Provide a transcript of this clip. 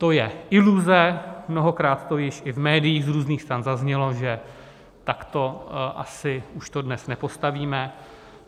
To je iluze, mnohokrát to již i v médiích z různých stran zaznělo, že takto asi už to dnes nepostavíme.